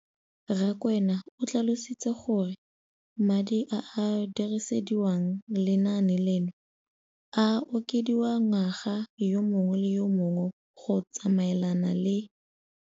Rakwena o tlhalositse gore madi a a dirisediwang lenaane leno a okediwa ngwaga yo mongwe le yo mongwe go tsamaelana le